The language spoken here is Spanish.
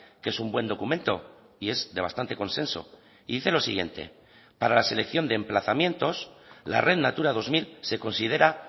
que es un buen documento y es de bastante consenso y dice lo siguiente para la selección de emplazamientos la red natura dos mil se considera